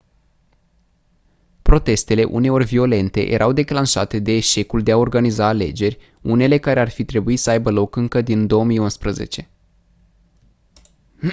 protestele uneori violente erau declanșate de eșecul de a organiza alegeri unele care ar fi trebuit să aibă loc încă din 2011